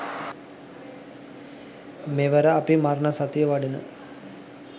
මෙවර අපි මරණසතිය වඩන